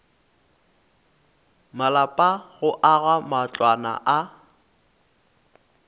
malapa go aga matlwana a